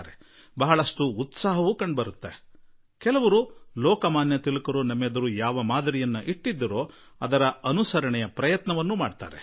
ಬಹಳ ಉತ್ಸಾಹವೂ ಇರುತ್ತದೆ ಮತ್ತು ಕೆಲವರು ಇಂದಿಗೂ ಲೋಕಮಾನ್ಯ ತಿಲಕ್ ಜೀ ಯಾವ ಒಂದು ಭಾವನೆ ತುಂಬಿದ್ದರೋ ಅದನ್ನು ಅನುಸರಿಸಲು ಸಂಪೂರ್ಣ ಪ್ರಯತ್ನವನ್ನು ಮಾಡಿರುವರು